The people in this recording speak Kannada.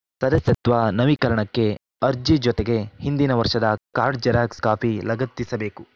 ಸದಸ್ಯತ್ವ ನವೀಕರಣಕ್ಕೆ ಅರ್ಜಿ ಜೊತೆಗೆ ಹಿಂದಿನ ವರ್ಷದ ಕಾರ್ಡ್‌ ಜೆರಾಕ್ಸ್‌ ಕಾಪಿ ಲಗತ್ತಿಸಬೇಕು